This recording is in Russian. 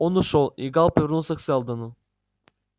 он ушёл и гаал повернулся к сэлдону